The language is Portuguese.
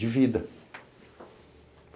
De vida.